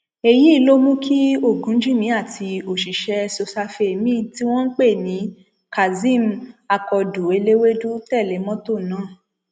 lẹyìn tí wọn bẹrẹ ìwádìí àti ìgbésẹ láti rí ọmọdébìnrin tó sọnù náà ni wọn rí i nílé felicia adẹnilóye